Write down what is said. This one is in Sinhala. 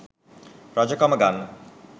රජ කම ගන්න